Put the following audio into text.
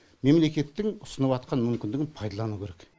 мемлекеттің ұсыныватқан мүмкіндігін пайдалану керек